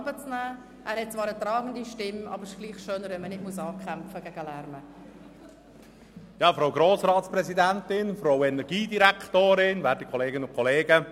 Krähenbühl hat zwar eine tragende Stimme, aber es ist dennoch schöner, wenn man nicht gegen den Lärm ankämpfen muss.